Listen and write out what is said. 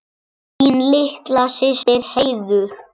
Þín litla systir, Heiður.